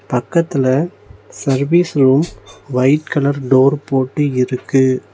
பக்கத்துல service room white colour door போட்டு இருக்கு.